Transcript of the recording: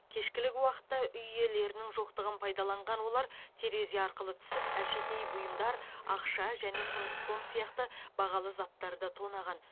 кешкілік уақытта үй иелерінің жоқтығын пайдаланған олар терезе арқылы түсіп әшекей бұйымдар ақша және құндыз тон сияқты бағалы заттарды тонаған